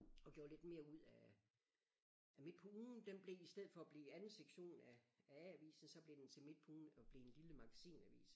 Og gjorde lidt mere ud af af Midt På Ugen den blev i stedet for at blive anden sektion af af A-avisen så blev den til Midt På Ugen og blev en lille magasinavis